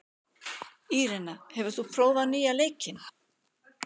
Írena, hefur þú prófað nýja leikinn?